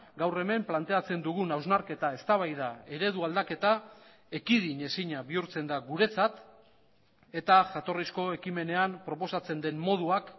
gaur hemen planteatzen dugun hausnarketa eztabaida eredu aldaketa ekidinezina bihurtzen da guretzat eta jatorrizko ekimenean proposatzen den moduak